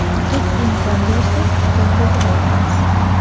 Raqib imkon bersa zarba berayapmiz.